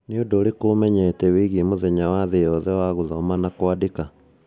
Nĩ ũndũ ũrĩkũ ũmenyete wĩgiĩ mũthenya wa thĩ yothe wa gũthoma na kũandĩka?